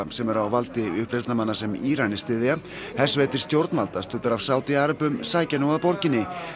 sem er á valdi uppreisnarmanna sem Íranar styðja hersveitir stjórnvalda studdar af Sádi sækja nú að borginni